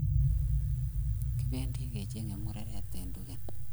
Kipendi kecheng mureret en Tugen.